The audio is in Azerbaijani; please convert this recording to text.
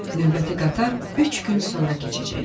Növbəti qatar üç gün sonra keçəcəkmiş.